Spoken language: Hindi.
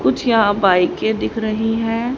कुछ यहां बाईकें के दिख रही हैं।